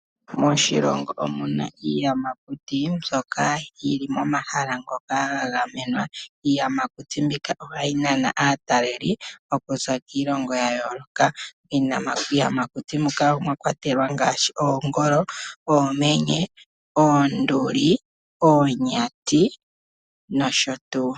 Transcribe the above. Moshilongo omuna iiyamakuti mbyoka yili pomahala ngoka gagamenwa. Iiyamakuti mbika ohayi nana aataleli okuza kiilongo yayooloka iiyamakuyti muka omwakwatelwa ngaashi oongolo, oomenye, oonduli, oonyati nosho tuu.